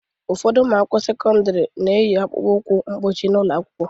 Ụfọdụ ụmụ akwụkwọ sekọndrị na-eyi akpụkpọ ụkwụ mkpuchi n'ụlọ akwụkwọ.